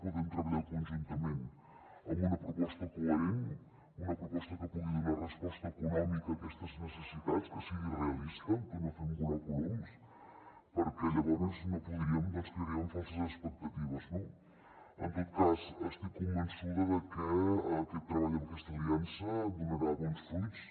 podem treballar conjuntament en una proposta coherent una proposta que pugui donar resposta econòmica a aquestes necessitats que sigui realista que no fem volar coloms perquè llavors no podríem crearíem falses expectatives no en tot cas estic convençuda de que aquest treball amb aquesta aliança donarà bons fruits